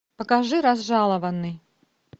покажи разжалованный